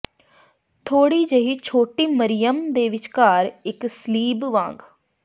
ਥੋੜ੍ਹੀ ਜਿਹੀ ਛੋਟੀ ਮਰਿਯਮ ਦੇ ਵਿਚਕਾਰ ਇੱਕ ਸਲੀਬ ਵਾਂਗ